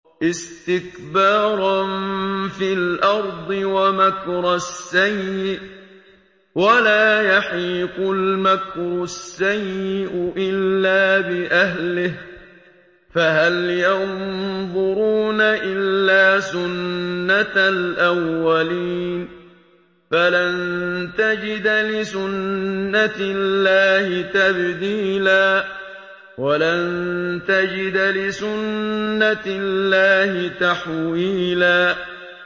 اسْتِكْبَارًا فِي الْأَرْضِ وَمَكْرَ السَّيِّئِ ۚ وَلَا يَحِيقُ الْمَكْرُ السَّيِّئُ إِلَّا بِأَهْلِهِ ۚ فَهَلْ يَنظُرُونَ إِلَّا سُنَّتَ الْأَوَّلِينَ ۚ فَلَن تَجِدَ لِسُنَّتِ اللَّهِ تَبْدِيلًا ۖ وَلَن تَجِدَ لِسُنَّتِ اللَّهِ تَحْوِيلًا